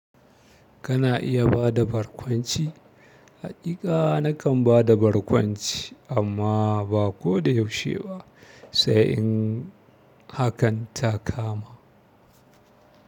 Kana iya ba da barkwanci? Haƙiƙa na kan ba da barkwanci amma ba ko da yaushe ba, sai in hakan ta kama.